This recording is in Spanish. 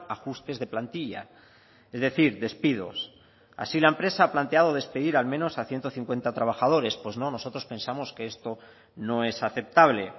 ajustes de plantilla es decir despidos así la empresa ha planteado despedir al menos a ciento cincuenta trabajadores pues no nosotros pensamos que esto no es aceptable